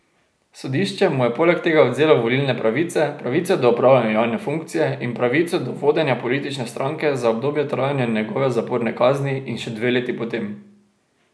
Sodišče mu je poleg tega odvzelo volilne pravice, pravico do opravljanja javne funkcije in pravico do vodenja politične stranke za obdobje trajanja njegove zaporne kazni in še dve leti potem.